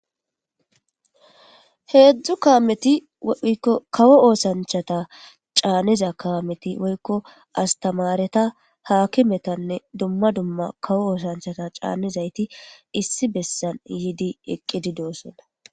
Heedzdzu kaameti okawo oosanchata caanniza kaameti woykko astamareta haakimetanne dumma dumma kawo oosanchata caannizayti issi bessan yiidi eqqidi doossonna.